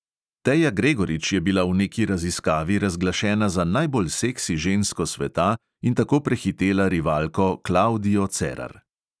Teja gregorič je bila v neki raziskavi razglašena za najbolj seksi žensko sveta in tako prehitela rivalko klavdijo cerar.